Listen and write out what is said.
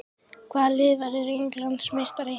Hvaða lið verður Englandsmeistari?